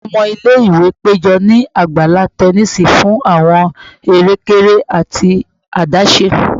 Awọn ọmọ ile-iwe pejọ ni agbala tẹnisi fun awọn ere-kere ati adaṣe